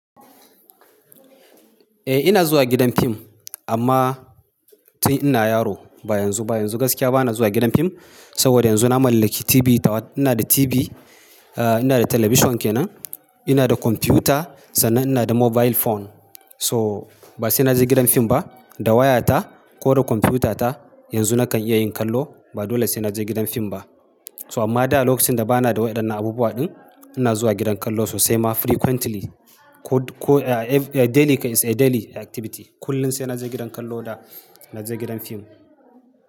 Eh ina zuwa gidan fim amma tun ina yaro ba yanzu ba. Yanzu gaskiya ba na zuwa gidan fim saboda yanzu na mallaki TV, ina da TV, ina da talabishin kenan, ina da computer sannan ina da mobile phone. So ba sai na je gidan fim ba, da waya ta ko da computer ta yanzu nakan iya yin kallo ba dole sai na je gidan fim ba. So amma da lokacin da ba na da waɗannan abubuwa ɗin ina zuwa gidan kallo sosai ma frequently ko daily, it's a daily activity. Kullum sai na je gidan kallo da na je gidan fim.